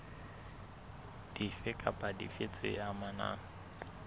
dife kapa dife tse amanang